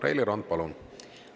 Reili Rand, palun!